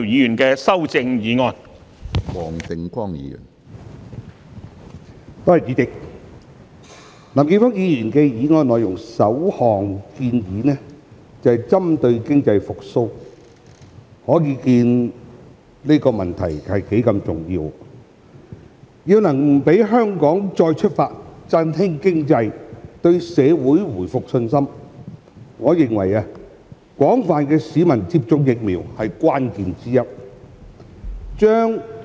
主席，林健鋒議員議案的首項建議便是針對經濟復蘇，可見其重要性；而要讓香港再出發，振興經濟，對社會回復信心，我認為廣泛市民接種疫苗是關鍵之一。